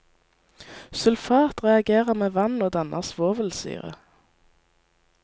Sulfat reagerer med vann og danner svovelsyre.